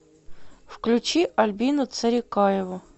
включи альбину царикаеву